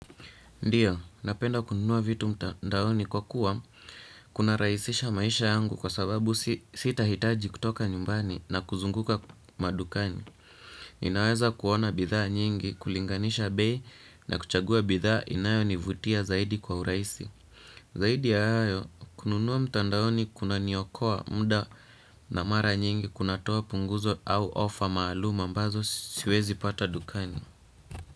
Ndiyo, napenda kununua vitu mtandaoni kwa kuwa kuna rahisisha maisha yangu kwa sababu sita hitaji kutoka nyumbani na kuzunguka madukani. Ninaweza kuona bidhaa nyingi, kulinganisha bei na kuchagua bidhaa inayo nivutia zaidi kwa uraisi. Zaidi ya hayo, kununua mtandaoni kuna niokoa muda na mara nyingi kunatoa punguzo au ofa maalum mbazo siwezi pata dukani.